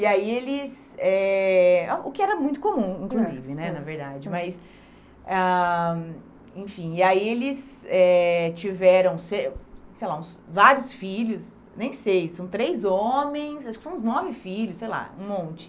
E aí eles... Eh ah O que era muito comum, inclusive né, na verdade, mas... Ah, Enfim, e aí eles eh tiveram, se sei lá, vários filhos, nem sei, são três homens, acho que são uns nove filhos, sei lá, um monte.